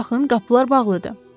Baxın, qapılar bağlıdır.